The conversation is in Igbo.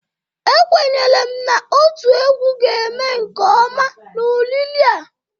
Ekwenyere m na oti egwu ga-eme nke ọma n'oriri a.